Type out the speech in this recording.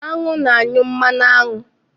Aṅụ na-anyụ mmanụ aṅụ.